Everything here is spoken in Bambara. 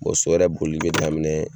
Bɔn so yɛrɛ boli be daminɛ